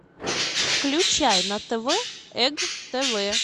включай на тв эг тв